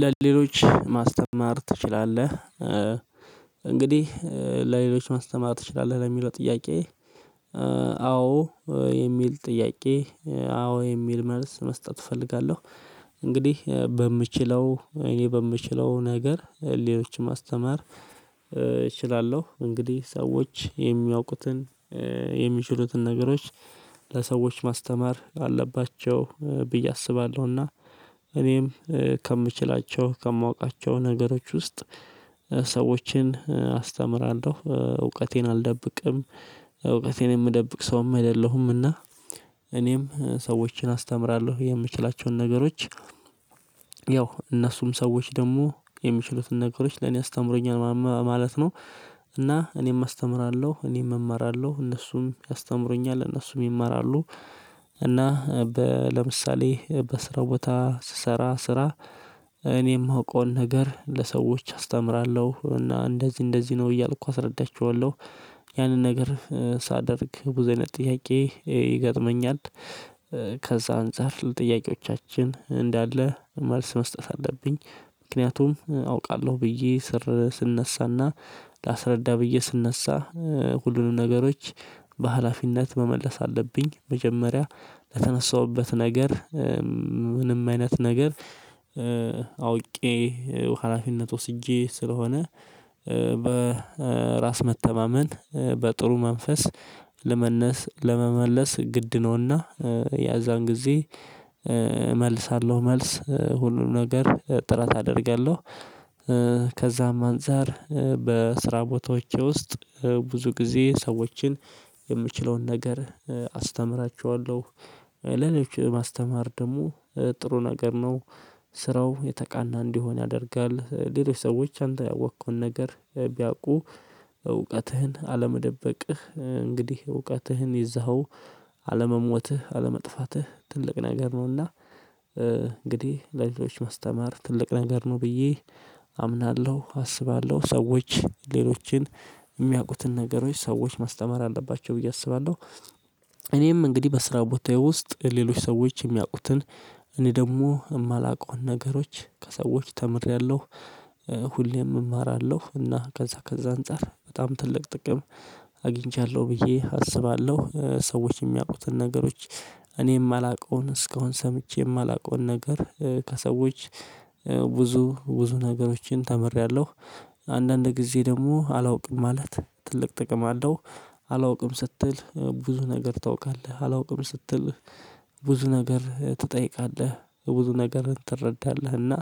ለሌሎች ማስተማር ትችላለህ? እንግዲህ ለሌሎች ማስተማር ትችላለህ ለሚለው ጥያቄ አዎ የሚል ጥያቄ አዎ የሚል መልስ መስጠት እፈልጋለሁ። እንግዲህ በምችለው እኔ በምችለው ነገር ሌሎችን ማስተማር እችላለሁ እንግዲህ ሰዎች የሚያውቁትን የሚችሉትን ነገሮች ለሰዎች ማስተማር አለባቸው ብዬ አስባለሁና። እኔም ከምችላቸው ከማውቃቸው ነገሮች ውስጥ ሰዎችን አስተምራለሁ እውቀቴን አልደብቅም። እውቀቴን የምደብቅ ሰውም አይደለሁምና። እኔም ሰዎችን አስተምራለሁ የምችላቸውን ነገሮች ያው እነሱም ሰዎች ደግሞ የሚችሉትን ነገሮች ለኔ ያስተምሩኛል ማለት ነው። እና እኔም አስተምራለሁ እኔም እማራለሁ እነሱም ያስተምሩኛል እነሱም ይማራሉ። እና ለምሳሌ በስራ ቦታ ስሰራ ስራ እኔ የማውቀውን ነገር ለሰዎች አስተምራለሁ እና እንደዚህ እንደዚህ ነው እያልኩ አስረዳቸዋለሁ። ያንን ነገር ሳደርግ ቡዙ አይነት ጥያቄ ይገጥመኛል። ከዛ አንፃር ለጥያቄዎቻችን እንዳለ መልስ መስጠት አለብኝ። ምክንያቱም አውቃለሁ ብዬ ስር ስነሳና ላስረዳ ብዬ ስነሳ ሁሉንም ነገሮች በሃላፊነት መመለስ አለብኝ። መጀመሪያ ለተነሳሁበት ነገር ምንም አይነት ነገር አውቄ ሀላፊነት ወስጄ ስለሆነ። በራስ መተማመን በጥሩ መንፈስ ለመነስ ለመመለስ ግድ ነውና ያዛን ጊዜ እመልሳለሁ መልስ ሁሉንም ነገር ጥረት አደርጋለሁ። ከዛም አንፃር በስራ ቦታዎቼ ውስጥ ብዙ ጊዜ ሰዎችን የምችለውን ነገር አስተምራችኋለሁ። ለሌሎች ማስተማር ደግሞ ጥሩ ነገር ነው። ስራው የተቃና እንዲሆን ያደርጋል እንግዲህ ሰዎች አንተ ያወቅከውን ነገር ቢያውቁ እውቀትህን አለመደበቅህ እንግዲህ እውቀትህን ይዘኸው አለመሞትህ አለመጥፋትህ ትልቅ ነገር ነውና። እንግዲህ ለሌሎች ማስተማር ትልቅ ነገር ነው ብዬ አምናለሁ አስባለሁ ሰዎች ሌሎችን የሚያውቁትን ነገሮች ሰዎች ማስተማር አለባቸው ብዬ አስባለሁ። እኔም እንግዲህ በስራ ቦታዬ ውስጥ ሌሎች ሰዎች የሚያውቁትን እኔ ደግሞ የማላውቀውን ነገሮች ከሰዎች ተምሬያለሁ። ሁሌም እማራለሁ እና ከዛ ከዛ አንፃር በጣም ትልቅ ጥቅም አግኝቻለሁ ብዬ አስባለሁ። ሰዎች የሚያውቁትን ነገሮች እኔ የማላውቀውን እስካሁን ሰምቼ የማላውቀውን ነገር ከሰዎች ብዙ ብዙ ነገሮችን ተምሬያለሁ። አንዳንድ ጊዜ ደግሞ አላውቅም ማለት ትልቅ ጥቅም አለው። አላውቅም ስትል ብዙ ነገር ታውቃለህ አላውቅም ስትል ብዙ ነገር ትጠይቃለህ ብዙ ነገርን ትረዳለህና